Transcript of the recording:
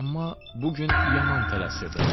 Amma bu gün yaman tələsirdim.